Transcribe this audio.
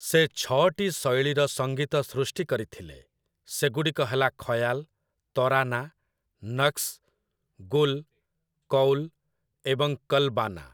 ସେ ଛଅଟି ଶୈଳୀର ସଂଗୀତ ସୃଷ୍ଟି କରିଥିଲେ, ସେଗୁଡ଼ିକ ହେଲା ଖୟାଲ୍, ତରାନା, ନକଶ୍, ଗୁଲ୍, କୌଲ୍ ଏବଂ କଲ୍‌ବାନା ।